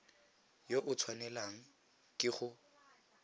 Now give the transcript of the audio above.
yo o tshwanelang ke go